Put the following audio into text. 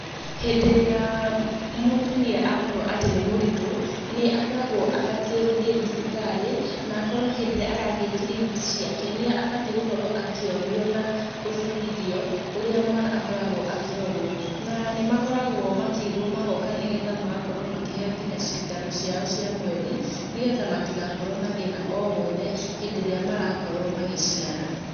Hĩndĩ ĩrĩa mũtumia akorwo atĩ nĩ mũritũ, nĩ akoragwo abatie gũthiĩ thibitarĩ na akorwo hĩndĩ ĩrĩa arathiĩ kiriniki ciake nĩ abatie gũkorwo akĩonio na gũbundithio ũrĩa mwana akoragwo akĩrorwo. Na nĩ makoragwo makĩrwo magoka nĩ getha makaheo cindano ciao cia mweri, nĩ getha matigakorwo na thĩna o wothe hĩndĩ ĩrĩa marakorwo magĩciara.